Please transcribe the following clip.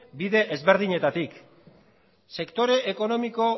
bide ezberdinetatik sektore ekonomiko